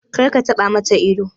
Kar ka taɓa ma ta ido!